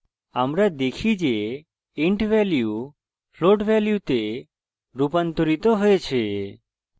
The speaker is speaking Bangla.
আমরা দেখি যে int value float ভ্যালুতে রুপান্তরিত হয়েছে